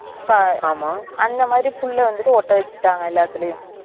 ஆமாம் அந்த மாறி புள்ள வந்துட்டு ஓட்ட வைக்குறாங்க எல்லாத்துலையும்